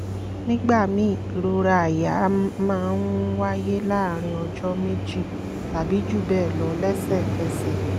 nígbà míì ìrora àyà máa ń wáyé láàárín ọjọ́ méjì tàbí jù bẹ́ẹ̀ lọ lẹ́sẹ̀kẹsẹ̀